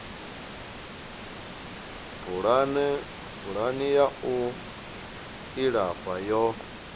pulani ya u alafha yo